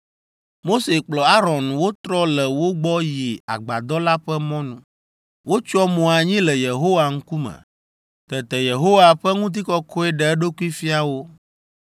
Mose kple Aron wotrɔ le wo gbɔ yi Agbadɔ la ƒe mɔnu. Wotsyɔ mo anyi le Yehowa ŋkume. Tete Yehowa ƒe ŋutikɔkɔe ɖe eɖokui fia wo.